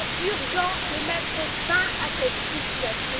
Il est urgent de mettre fin à cette situation.